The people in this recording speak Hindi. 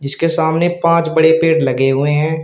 जिसके सामने पांच बड़े पेड़ लगे हुए हैं।